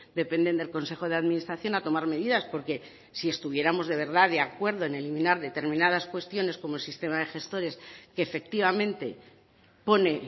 dependen del consejo de administración a tomar medidas porque si estuviéramos de verdad de acuerdo en eliminar determinadas cuestiones como el sistema de gestores que efectivamente pone